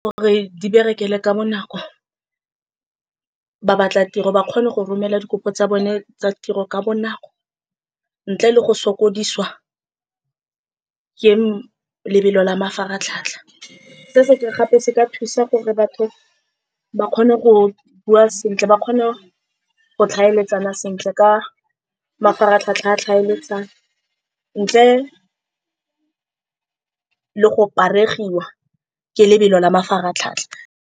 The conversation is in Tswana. Gore di berekele ka bonako, ba batla tiro, ba kgone go romela dikopo tsa bone tsa tiro ka bonako, ntle le go sokodisa ke lebelo la mafaratlhatlha. Se se gape, se ka thusa gore batho ba kgone go bua sentle, ba kgone go tlhaeletsana sentle ka mafaratlhatlha a tlhaeletsano, ntle le go paregiwa ke lebelo la mafaratlhatlha.